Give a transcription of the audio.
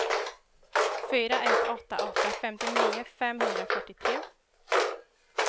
fyra ett åtta åtta femtionio femhundrafyrtiotre